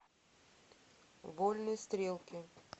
вольные стрелки